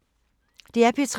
DR P3